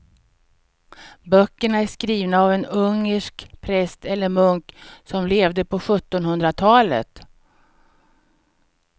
Böckerna är skrivna av en ungersk präst eller munk som levde på sjuttonhundratalet.